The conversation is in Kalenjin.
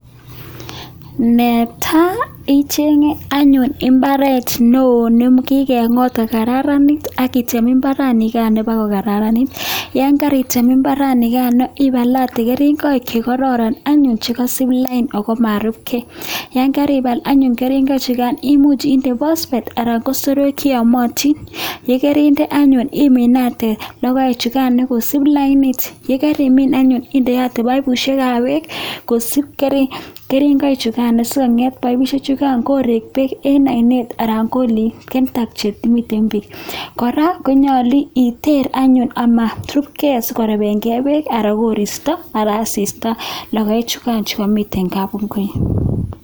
Ne tai, ichenge anyuun imbaaret neo nekikengot kokararanit akitem imbaranikan ipokokararanit, yon karoten imbaranikanito ipalate keringoik che koraran anyun che kaisup lainit ako marupkei, ye karipal keringoik chukan imuchi inde phosphate anan ko soroek che yomotin, ye kerinde anyun imiinate logpechukan anyun kosuup lainit, ye kerimin anyun indeote paipushekab beek kosuup keringoik chukan is sikonget paipushek chukan koreek beek eng oinet anan ko eng kentank chemiten beek. Kora konyolu iteer anyun amarupkei sikorepenkei beek anan koristo anan asista logoechukan che kamiten kapungui.